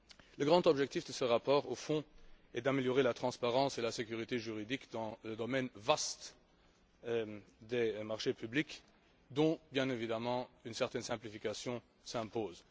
Le grand objectif de ce rapport, au fond, est d'améliorer la transparence et la sécurité juridique dans le vaste domaine des marchés publics, où, bien évidemment, une certaine simplification s'impose.